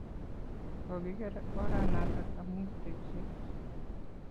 Kokiker oranatak amun tekset